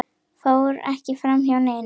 fór ekki framhjá neinum.